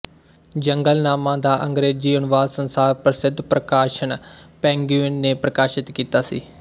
ਜੰਗਲਨਾਮਾ ਦਾ ਅੰਗਰੇਜ਼ੀ ਅਨੁਵਾਦ ਸੰਸਾਰ ਪ੍ਰਸਿਧ ਪ੍ਰਕਾਸ਼ਨ ਪੈਂਗੁਇਨ ਨੇ ਪ੍ਰਕਾਸ਼ਿਤ ਕੀਤਾ ਸੀ